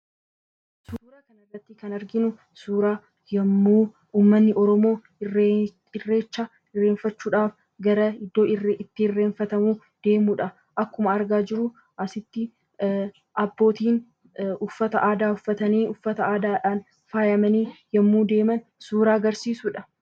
Suuraa kanarratti kan arginu suuraa yommuu uummanni Oromoo irreecha irreeffachuudhaaf gara iddoo itti irreeffatamuu deemudha. Akkuma argaa jirru, asitti abbootiin uffata aadaatiin faayamanii yommuu deeman suuraa agarsiisudha.